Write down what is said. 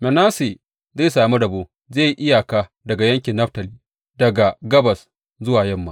Manasse zai sami rabo; zai yi iyaka da yankin Naftali daga gabas zuwa yamma.